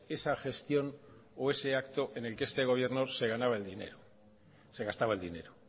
esa gestión o ese acto en el que este gobierno se gastaba el dinero